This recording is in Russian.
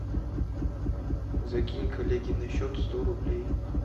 закинь коллеге на счет сто рублей